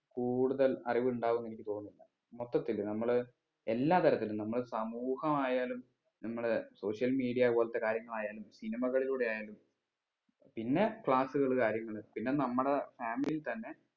കൂടുതൽ അറിവ് ഇണ്ടാവും എനിക്ക് തോന്നിന്നില്ല മൊത്തത്തില് നമ്മള് എല്ലാ തരത്തിലും നമ്മൾ സമൂഹമായാലും നമ്മളെ social media പോലത്തെ കാര്യങ്ങളായാലും cinema കളിലൂടെ ആയാലും പിന്നെ class കൾ കാര്യങ്ങള് പിന്നെ നമ്മളെ family ൽ തന്നെ